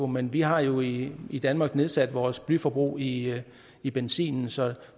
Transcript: men vi har jo i i danmark nedsat vores blyforbrug i i benzin så